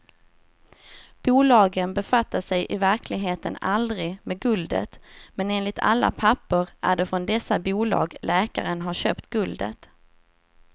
Bolagen befattade sig i verkligheten aldrig med guldet, men enligt alla papper är det från dessa bolag läkaren har köpt guldet.